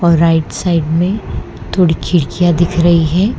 और right side में थोड़ी खिड़कियां दिख रही है।